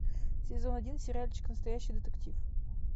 сезон один сериальчик настоящий детектив